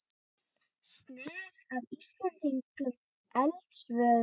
Snið af íslenskum eldstöðvum.